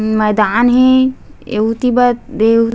मैदान हे एउति बा देउ--